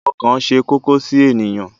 Ọkàn ṣe kókó sí ènìyàn.